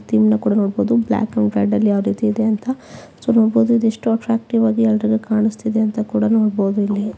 Theme ಕೂಡ ನೋಡಬಹುದು black ಬ್ಯಾಗ್ರೌಂಡಲ್ಲಿ ಯಾವ್ ರೀತಿ ಇದೆ ಅಂತ ನೋಡಬಹುದು ಇದು ಎಷ್ಟು ಅಟ್ರ್ಯಾಕ್ಟಿವ್ ಆಗಿ ಎಲ್ಲರಿಗೆ ಕಾಣುತ್ತಿದೆ ಅಂತ ಕೂಡ ನೋಡಬಹುದು ಇಲ್ಲಿ.